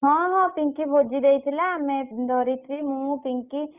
ହଁ ହଁ ପିଂକି ଭୋଜି ଦେଇଥିଲା ଆମେ ଧରିତ୍ରୀ, ମୁଁ ପିଂକି।